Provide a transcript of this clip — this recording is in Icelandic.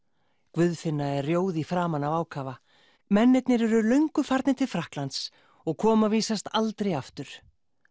Guðfinna er frjóð í framan af ákafa mennirnir eru löngu farnir til Frakklands og koma vísast aldrei aftur